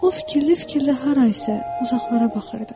O fikirli-fikirli harasa uzaqlara baxırdı.